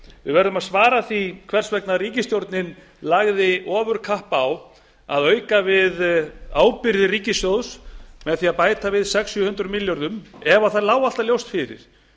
við verðum að svara því hvers vegna ríkisstjórnin lagði ofurkapp á að auka við ábyrgðir ríkissjóðs með því að bæta við sex hundruð til sjö hundruð milljörðum ef það lá alltaf ljóst fyrir